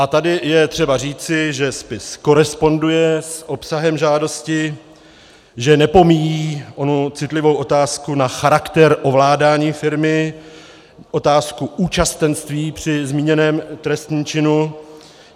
A tady je třeba říci, že spis koresponduje s obsahem žádosti, že nepomíjí onu citlivou otázku na charakter ovládání firmy, otázku účastenství při zmíněném trestném činu.